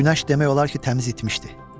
Günəş demək olar ki, təmiz itmişdi.